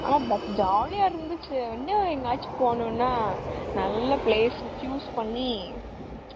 ஆனா but ஜாலியா இருந்துச்சு எங்கையாச்சு போனும்னா நல்ல place choose பண்ணி,